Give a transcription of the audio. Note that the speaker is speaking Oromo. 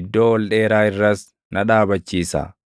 iddoo ol dheeraa irras na dhaabachiisa.